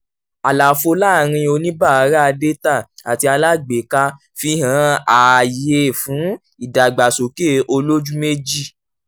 àlàfo láàrin oníbárà dátà àti alágbéká fi hàn ààyè fún ìdàgbàsókè olójú méjì.